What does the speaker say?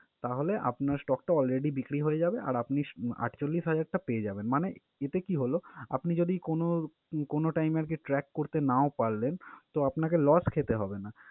তাহলে আপনার stock টা already বিক্রি হয়ে যাবে আর আপনি আটচল্লিশ হাজার টা~ পেয়ে যাবেন। মানে এতে কী হল? আপনি যদি কোনও কোনও time আরকি track করতে নাও পারলেন, তো আপনাকে loss খেতে হবে না।